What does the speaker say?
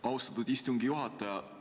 Austatud istungi juhataja!